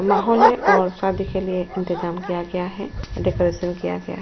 माहौल है और शादी के लिए इंतजाम किया गया है डेकोरेशन किया गया --